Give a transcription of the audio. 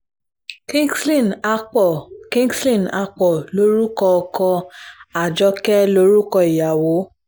kingsley akpor kingsley akpor lorúkọ ọkọ àjọké lórúkọ ìyàwó